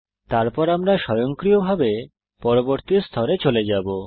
তারপর আমরা স্বয়ংক্রিয়ভাবে পরবর্তী স্তরে চলে যাবো